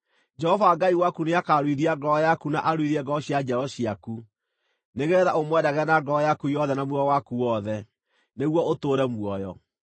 Jehova Ngai waku nĩakaruithia ngoro yaku na aruithie ngoro cia njiaro ciaku, nĩgeetha ũmwendage na ngoro yaku yothe na muoyo waku wothe, nĩguo ũtũũre muoyo.